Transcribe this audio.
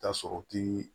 Ta sɔrɔ k'i